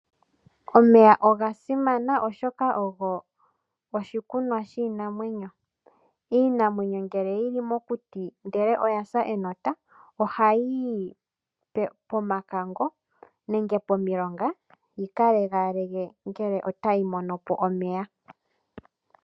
Omeya oga simana, oshoka ogo oshikunwa shiinamwenyo. Iinamwenyo ngele yi li mokuti ndele oya sa enota ohayi yi pomakango nenge pomilonga yi ka lengaalenge ngele otayi mono po omeya.